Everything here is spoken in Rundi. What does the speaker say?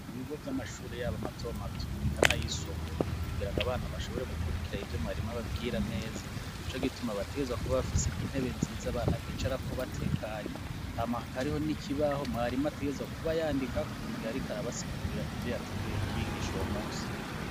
Ibigo vy'amashuri yabo mato mato bikanayisumbuye kugira ngo abana bashobore gukurikira ibyo mwarimo ababwira neza ico gituma bateza kuba bafise intebe nziza abana bicara ko batekanye hamahaka ariho n'ikibaho mwarimo ategeza kuba yandika mugiarikar basigurira ivyo yateguye kubigisha ubo munsi.